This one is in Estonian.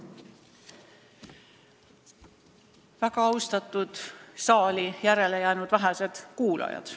Väga austatud, vähesed saali jäänud kuulajad!